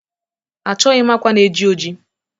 achọghị m akwa na-eji ojii